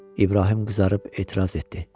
İbrahim qızarıb etiraz etdi.